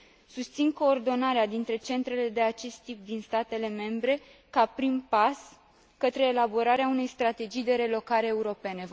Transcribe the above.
Susțin coordonarea dintre centrele de acest tip din statele membre ca prim pas către elaborarea unei strategii de relocare europene.